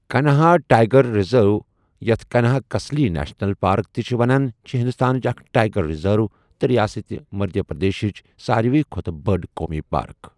Kanha tiger reserve, یتھ Kanha Kisli national park تہِ چھِ وَنان چھِ ہندوستانٕچ اکھ ٹائیگر ریزرو تہٕ ریاست مدھیہ پردیشٕچ ساروِی کھوتہٕ بٔڑ قومی پارک۔